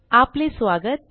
आपले स्वागत